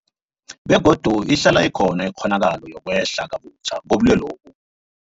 Begodu ihlala ikhona ikghonakalo yokwehla kabutjha kobulwelobu.